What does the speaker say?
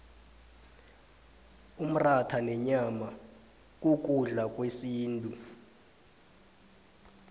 umratha nenyama kukudla kwesintu